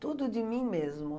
Tudo de mim mesmo.